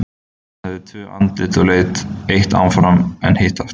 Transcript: Hann hafði tvö andlit og leit eitt áfram en hitt aftur.